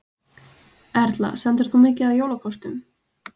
Erla: Sendir þú mikið af jólakortum?